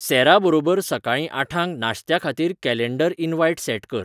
सॅराबरोबर सकाळीं आठांक नाश्त्याखातीर कॅलेन्डर इन्व्हाइट सॅट कर